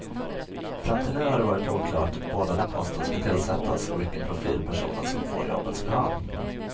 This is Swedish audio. Fram till nu har det varit oklart både när posten ska tillsättas och vilken profil personen som får jobbet ska ha.